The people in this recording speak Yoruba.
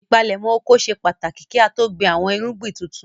Ìpalẹ́mọ́ oko ṣe pàtàkì kí á tó gbin àwọn irúgbìn tuntun.